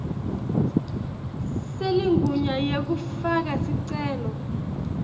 seligunya lekufaka sicelo